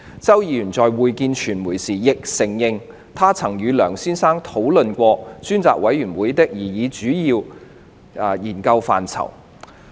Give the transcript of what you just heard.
周議員在會見傳媒時，亦承認他曾與梁先生討論專責委員會的擬議主要研究範疇。